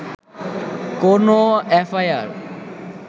কোনও এফআইআর